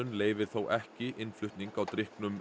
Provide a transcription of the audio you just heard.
leyfir þó ekki innflutning á drykknum